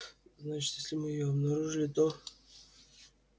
значит если мы её обнаружили то